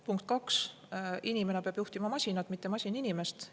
Punkt kaks: inimene peab juhtima masinat, mitte masin inimest.